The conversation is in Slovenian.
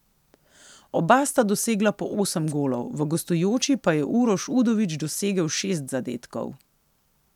Oba sta dosegla po osem golov, v gostujoči pa je Uroš Udovič dosegel šest zadetkov.